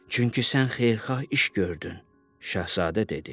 Çünki sən xeyirxah iş gördün, Şahzadə dedi.